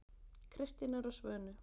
Kristínar og Svönu.